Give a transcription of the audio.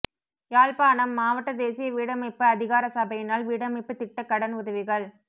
யாழ்ப்பாணம் மாவட்ட தேசிய வீடமைப்பு அதிகார சபையினால் வீடமைப்புத் திட்ட கடன் உதவிகள்